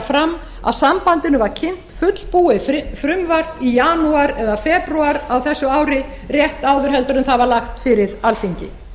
fram að sambandinu var kynnt fullbúið frumvarp í janúar eða febrúar á þessu ári rétt áður en það var lagt fyrir alþingi